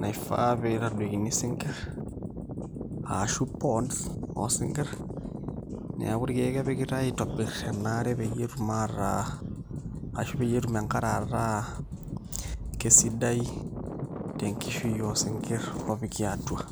naifaa pee itadoikini isinkirr aashu ponds oosinkirr neeku irkeek epikitai aitobirr ena are peyie etum aataa ashu peyie etum enkare ataa kesidai tenkishui oosinkirr oopiki atua.